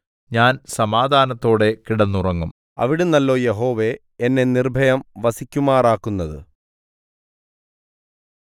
ഞാൻ സമാധാനത്തോടെ കിടന്നുറങ്ങും അവിടുന്നല്ലോ യഹോവേ എന്നെ നിർഭയം വസിക്കുമാറാക്കുന്നത്